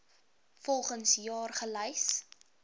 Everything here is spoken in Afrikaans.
volgens jaar gelys